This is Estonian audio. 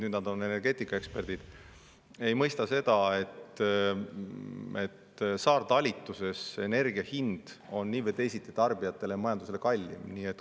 Nüüd nad on energeetikaeksperdid, aga ei mõista seda, et saartalitluses energia hind on nii või teisiti tarbijatele ja majandusele kallim.